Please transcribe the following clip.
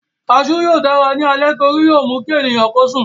Kasú yóò dára ní alẹ́ torí yóó mú kí ènìyàn sùn